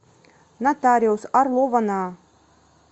нотариус орлова на